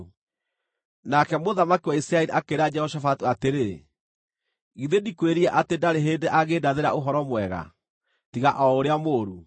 Nake mũthamaki wa Isiraeli akĩĩra Jehoshafatu atĩrĩ, “Githĩ ndikwĩrire atĩ ndarĩ hĩndĩ angĩndathĩra ũhoro mwega, tiga o ũrĩa mũũru?”